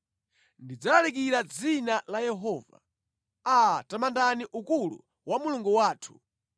Ndidzalalikira dzina la Yehova. Aa, tamandani ukulu wa Mulungu wathu!